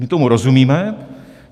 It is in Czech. My tomu rozumíme.